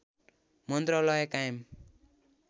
मन्त्रालय कायम